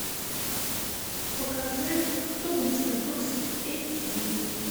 покажи кто вы мистер брукс эйч ди